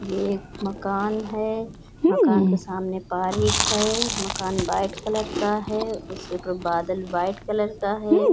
ये एक मकान है। मकान के सामने पार्क है। मकान व्हाइट कलर का है। उसके ऊपर बादल व्हाइट कलर का है।